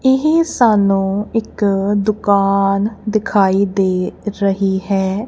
ਇਹ ਸਾਨੂੰ ਇੱਕ ਦੁਕਾਨ ਦਿਖਾਈ ਦੇ ਰਹੀ ਹੈ।